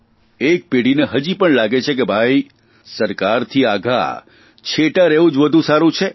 એક પેઢીને હજી પણ લાગે છે કે ભાઇ સરકારથી આઘાછેટા રહેવું જ વધુ સારૂં છે